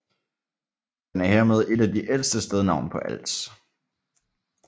Den er hermed et af de ældste stednavne på Als